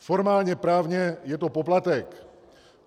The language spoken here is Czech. Formálně právně je to poplatek.